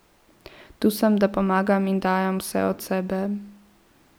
Tu sem, da pomagam in dajem vse od sebe.